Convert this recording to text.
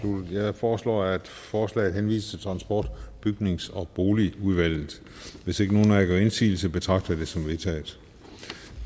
jeg foreslår at forslaget henvises til transport bygnings og boligudvalget hvis ikke nogen af jer gør indsigelse betragter det som vedtaget